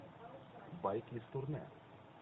байки из турне